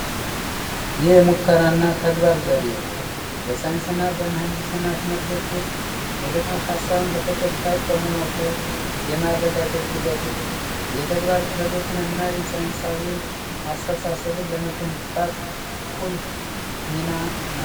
የሙከራና ተግባር ዘዴ በሳይንስና በምህንድስና ትምህርቶች ውስጥ ንድፈ ሀሳብን በተጨባጭ በመሞከር የማረጋገጥ ሂደት ነው። የተግባር ክህሎትንና የሳይንሳዊ አስተሳሰብን ለመገንባት ቁልፍ ሚና ነው።